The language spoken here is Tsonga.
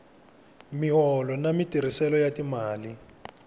miholo na matirhiselo ya timali